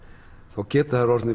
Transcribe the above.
þá geta þær orðið